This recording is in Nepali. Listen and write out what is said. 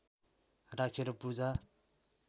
राखेर पूजा